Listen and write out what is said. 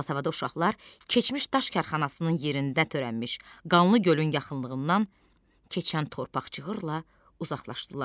Alatavada uşaqlar keçmiş daş karxanasının yerində törənmiş qanlı gölün yaxınlığından keçən torpaq cığırla uzaqlaşdılar.